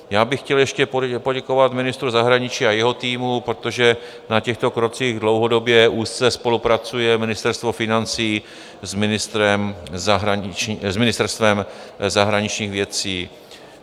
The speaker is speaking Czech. Já bych chtěl ještě poděkovat ministru zahraničí a jeho týmu, protože na těchto krocích dlouhodobě úzce spolupracuje Ministerstvo financí s Ministerstvem zahraničních věcí.